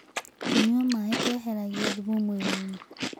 Kũnyua maĩ kweheragĩa thũmũ mwĩrĩĩnĩ